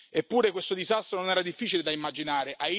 Eppure questo disastro non era difficile da immaginare.